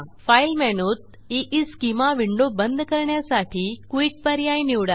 file मेनूत ईस्केमा window बंद करण्यासाठी क्विट पर्याय निवडा